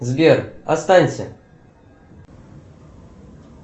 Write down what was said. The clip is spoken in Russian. сбер останься